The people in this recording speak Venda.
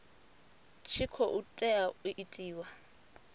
tshi khou tea u itiwa